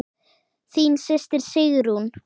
Þín systir, Sigrún.